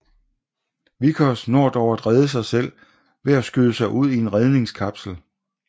Vickers når dog at rede sig selv ved at skyde sig ud i en redningskapsel